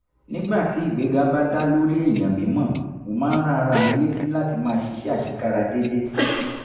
nígbà tí ìgbéga bá dá lórí èèyàn mímọ̀ mo máa ń rán ara mi létí láti máa ṣiṣẹ́ àṣekára déédéé